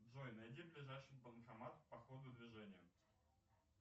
джой найди ближайший банкомат по ходу движения